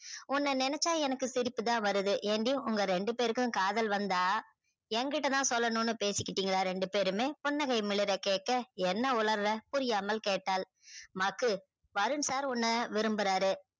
உன்ன நினச்சா எனக்கு சிரிப்பு தா வருது ஏன்டி உங்க ரெண்டு பேருகும் காதல் வந்த ய கிட்டதா சொல்லனும்னு பேசிகிட்டிங்களா ரெண்டு பேருமே புன்னகை கேக்க என்ன ஒளர்ற புரியாமல் கேட்டால மக்கு வருண் sir உன்ன விரும்புறாரு